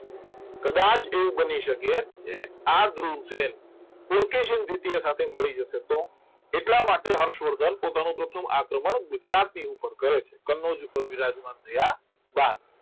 કદાચ એવું બની શકે કે આ ધ્રુવસેન દ્વિતીય સાથે મળી જશે તો એટલા માટે હર્ષવર્ધન પોતાનો પ્રથમ આક્રમણ ગુજરાતની ઉપર કરે છે કનોજ ઉપર વિરાજમાન થયા બાદ